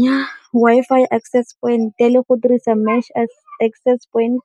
Nnyaa, Wi-Fi acess point le go dirisa acess point